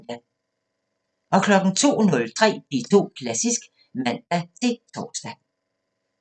02:03: P2 Klassisk (man-tor)